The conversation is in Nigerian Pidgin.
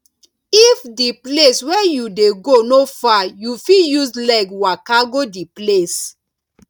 if di place wey you dey go no far you fit use leg waka go di place